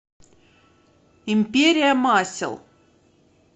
империя масел